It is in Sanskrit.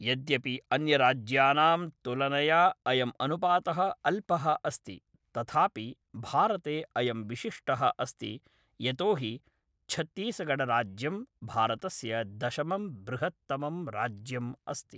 यद्यपि अन्यराज्यानां तुलनया अयम् अनुपातः अल्पः अस्ति, तथापि भारते अयम् विशिष्टः अस्ति यतोहि छत्तीसगढराज्यं भारतस्य दशमं बृहत्तमं राज्यम् अस्ति।